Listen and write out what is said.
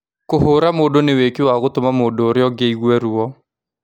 Kũhũra mũndũ nĩ wĩkĩĩ wa gũtũma mũndũ ũria ũngĩ aigue ruo